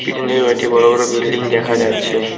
পিছন দিকে কয়েকটা বড় বড় বিল্ডিং দেখা যাচ্ছে।